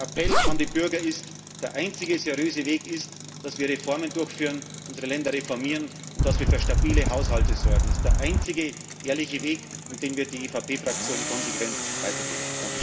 Der Appell an die Bürger ist Der einzige seriöse Weg ist, dass wir Reformen durchführen, unsere Länder reformieren und dass wir für stabile Haushalte sorgen. Das ist der einzige ehrliche Weg, und den wird die EVP Fraktion konsequent weitergehen.